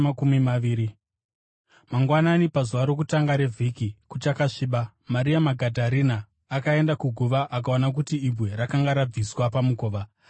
Mangwanani, pazuva rokutanga revhiki, kuchakasviba, Maria Magadharena akaenda kuguva akaona kuti ibwe rakanga rabviswa pamukova.